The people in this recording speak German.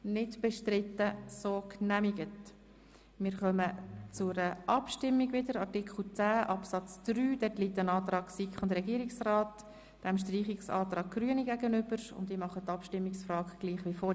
Dort steht ebenfalls der Antrag von SiK und Regierung dem Antrag der Grünen auf Streichung gegenüber.